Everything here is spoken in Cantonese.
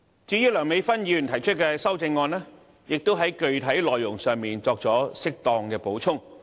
至於梁美芬議員提出的修正案，亦在具體內容上，作出適當補充。